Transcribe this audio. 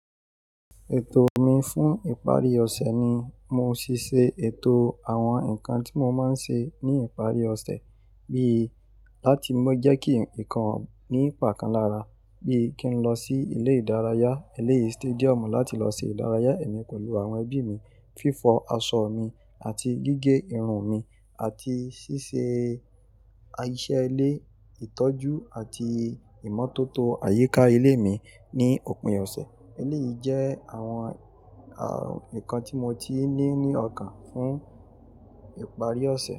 Ètò mi fún ìparí ọ̀sẹ̀ ni mo ṣíṣe ètò àwọn nǹkan tí mo máa ń ṣe ní ìparí ọ̀sẹ̀, bí i láti má jẹ́ kí ǹkan ní ìpà kan lára, bí i kí n lọ sí ilé ìdárayá, eléyìí stadium láti lọ ṣe ìdárayá ẹ̀mí pẹ̀lú àwọn ẹbí mi, fífọ aṣọ mi àti gígé irun mi àti ṣíṣe iṣẹ́ ilé, ìtọ́jú àti ìmọ́tótó àyíká ilé mi ní òpin ọ̀sẹ̀. Eléyìí jẹ́ àwọn, àwọn nǹkan tí mo ti n ní ọkàn fún ìparí ọ̀sẹ̀